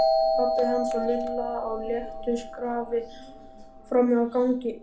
Pabbi hans og Lilla á léttu skrafi frammi á gangi.